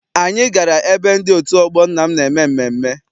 Anyị gara ebe ndị otu ọgbọ nna m na-eme mmemme.